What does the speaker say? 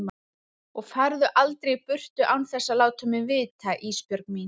Og farðu aldrei í burtu án þess að láta mig vita Ísbjörg mín.